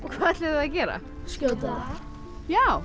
hvað ætluðu þið að gera skjóta það já